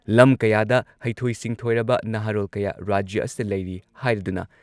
ꯂꯝ ꯀꯌꯥꯗ ꯍꯩꯊꯣꯏ ꯁꯤꯡꯊꯣꯏꯔꯕ ꯅꯍꯥꯔꯣꯜ ꯀꯌꯥ ꯔꯥꯖ꯭ꯌ ꯑꯁꯤꯗ ꯂꯩꯔꯤ ꯍꯥꯏꯔꯗꯨꯅ